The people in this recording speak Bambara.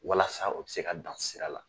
Walasa o bɛ se ka dan sira la.